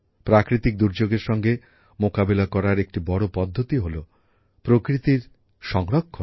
প্রাকৃতিক দুর্যোগের মোকাবিলা করার একটি বড় পদ্ধতি হল প্রকৃতির সংরক্ষণ